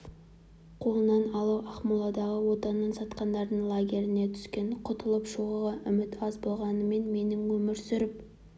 қолына алып ақмоладағы отанын сатқандардың лагеріне түскен құтылып шығуға үміт аз болғанымен менің өмір сүріп